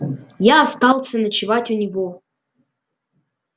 я остался ночевать у него